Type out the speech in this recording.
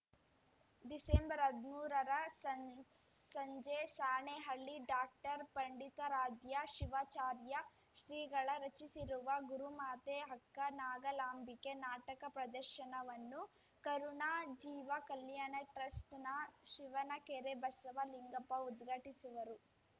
ಡಿಸೆಂಬರ್ಹದ್ಮೂರ ಸಂ ಸಂಜೆ ಸಾಣೇಹಳ್ಳಿ ಡಾಕ್ಟರ್ ಪಂಡಿತಾರಾಧ್ಯ ಶಿವಾಚಾರ್ಯ ಶ್ರೀಗಳ ರಚಿಸಿರುವ ಗುರುಮಾತೆ ಅಕ್ಕ ನಾಗಲಾಂಬಿಕೆ ನಾಟಕ ಪ್ರದರ್ಶನವನ್ನು ಕರುಣಾ ಜೀವ ಕಲ್ಯಾಣ ಟ್ರಸ್ಟ್‌ನ ಶಿವನಕೆರೆ ಬಸವಲಿಂಗಪ್ಪ ಉದ್ಘಾಟಿಸುವರು